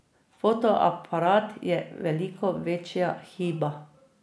Fotoaparat je veliko večja hiba.